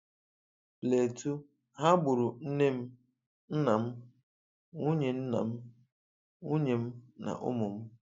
Plateau: 'ha gburu nne m, nna m, nwunye nna m, nwunye m na ụmụ m'